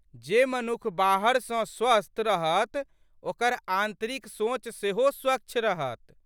जे मनुख बाहर सँ स्वस्थ रहत ओकर आंतरिक सोच सेहो स्वच्छ रहत।